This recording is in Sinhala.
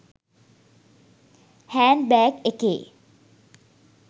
හෑන්ඩ් බෑග් එකේ